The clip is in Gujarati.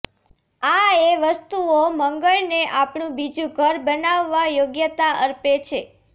આ એ વસ્તુઓ મંગળને આપણું બીજું ઘર બનાવવા યોગ્યતા અર્પે છે